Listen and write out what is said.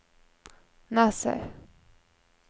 Nassau